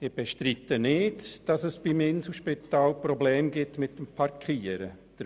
Ich bestreite nicht, dass es beim Inselspital Probleme beim Parkieren gibt.